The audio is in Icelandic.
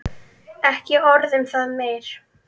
Ekki orð um það meir.